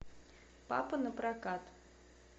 папа напрокат